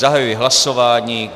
Zahajuji hlasování.